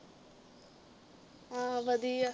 ਆਹੋ ਵਧੀਆ